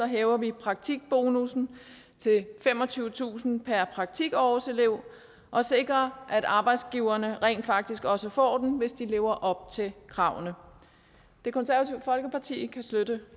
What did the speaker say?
hæver vi praktikbonussen til femogtyvetusind kroner per praktikårselev og sikrer at arbejdsgiverne rent faktisk også får den hvis de lever op til kravene det konservative folkeparti kan støtte